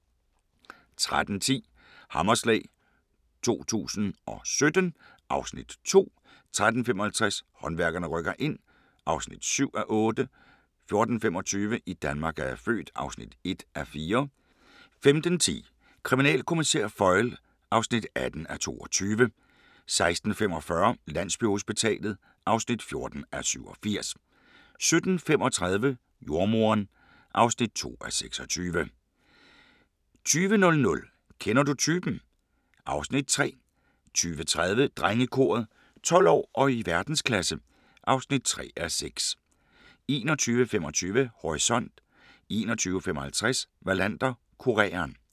13:10: Hammerslag 2017 (Afs. 2) 13:55: Håndværkerne rykker ind (7:8) 14:25: I Danmark er jeg født (1:4) 15:10: Kriminalkommissær Foyle (18:22) 16:45: Landsbyhospitalet (14:87) 17:35: Jordemoderen (2:26) 20:00: Kender du typen? (Afs. 3) 20:30: Drengekoret - 12 år og i verdensklasse (3:6) 21:25: Horisont 21:55: Wallander: Kureren